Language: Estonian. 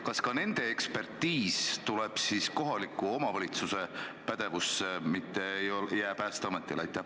Kas ka nende ekspertiis tuleb kohaliku omavalitsuse pädevusse, mitte ei jää Päästeametile?